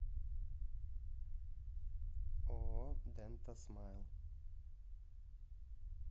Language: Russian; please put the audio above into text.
ооо дента смайл